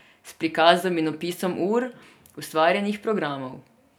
S prikazom in opisom ur ustvarjenih programov.